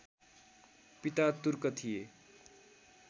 पिता तुर्क थिए